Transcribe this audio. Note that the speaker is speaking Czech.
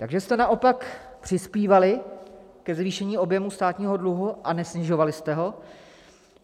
- Takže jste naopak přispívali ke zvýšení objemu státního dluhu a nesnižovali jste ho?